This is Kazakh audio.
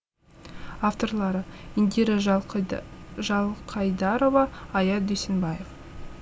авторлары индира жалқайдарова аят дүйсенбаев